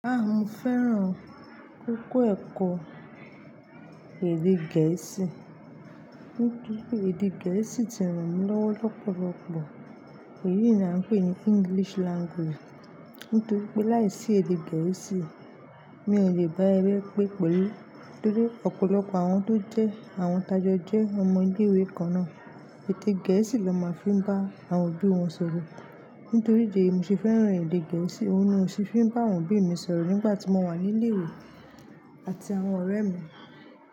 Ah, mo fẹ́ràn kiko ẹ̀kọ́ èdè gẹ̀ẹ́sì. Nítorí pé èdè gẹ̀ẹ́sì ti ràn mí lọ́wọ́ lọ́pọ̀lọ́pọ̀ èyí ni à ń pè ní English language. Nítorí pé láìsí èdè gẹ̀ẹ́sì, mi ò lè bá ẹ rí pé pẹ̀lú. Torí ọ̀pọ̀lọpọ̀ àwọn tó jẹ́ àwọn tajọ jẹ́ ọmọ ilé ìwé kan náà, èdè gẹ̀ẹ́sì ló máa fi ń bá àwọn òbí wọn sọ̀rọ̀. Nítorí ìdí èyí mo ṣe fẹ́ràn èdè gẹ̀ẹ́sì, òun ni ó ṣe é fi ń bá àwọn òbí mi sọ̀rọ̀ nígbà tí mo wà nílé ìwé àti àwọn ọ̀rẹ́ mi.